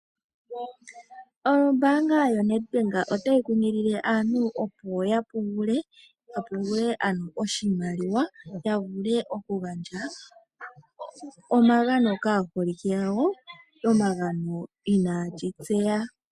Ombaanga yoNEDBANK otayi kunkilile aantu opo ya pungule ,ya pungule ano oshimaliwa ya vule okugandja omagano kaaholike gawo ,omagano taga gandjwa uuna aaholike inayeshi tseya.